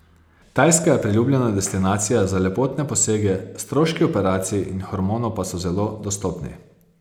Tajska je priljubljena destinacija za lepotne posege, stroški operacij in hormonov pa so zelo dostopni.